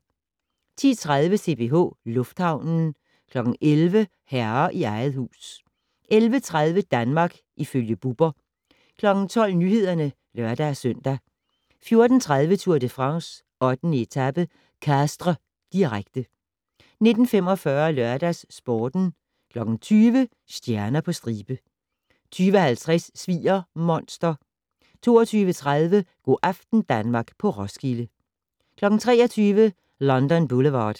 10:30: CPH Lufthavnen 11:00: Herre i eget hus 11:30: Danmark ifølge Bubber 12:00: Nyhederne (lør-søn) 14:30: Tour de France: 8. etape - Castres, direkte 19:45: LørdagsSporten 20:00: Stjerner på stribe 20:50: Sviger-monster 22:30: Go' aften Danmark på Roskilde 23:00: London Boulevard